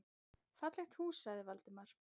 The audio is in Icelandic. Fallegt hús sagði Valdimar.